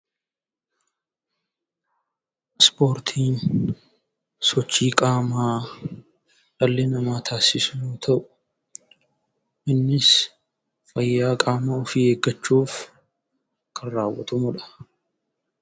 Ispoortiin sochii qaamaa dhalli namaa taasisu yoo ta'u, innis fayyaa qaama ofii eeggachuuf kan raawwatamuu dha.